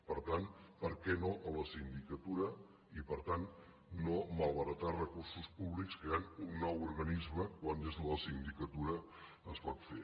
per tant per què no a la sindicatura i per tant no malbaratar recursos públics creant un nou organisme quan des de la sindicatura es pot fer